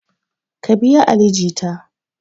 Ka biya ali jita!